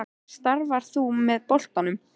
Starfar þú með boltanum?